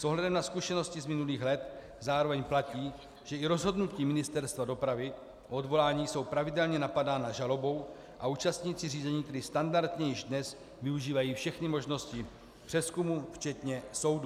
S ohledem na zkušenosti z minulých let zároveň platí, že i rozhodnutí Ministerstva dopravy o odvolání jsou pravidelně napadána žalobou a účastníci řízení tedy standardně již dnes využívají všechny možnosti přezkumu včetně soudů.